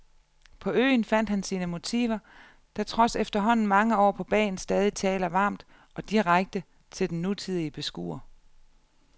På øen fandt han sine motiver, der trods efterhånden mange år på bagen stadig taler varmt og direkte til den nutidige beskuer.